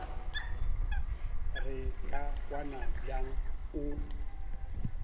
re ka kwana bjang o